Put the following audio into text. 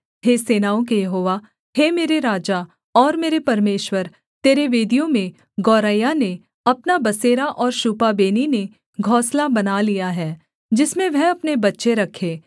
हे सेनाओं के यहोवा हे मेरे राजा और मेरे परमेश्वर तेरी वेदियों में गौरैया ने अपना बसेरा और शूपाबेनी ने घोंसला बना लिया है जिसमें वह अपने बच्चे रखे